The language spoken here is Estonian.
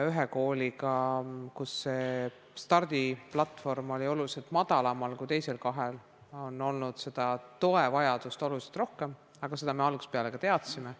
Ühe kooliga, kus see stardiplatvorm oli oluliselt madalamal kui teisel kahel, on olnud toevajadust tunduvalt rohkem, aga seda me ka algusest peale teadsime.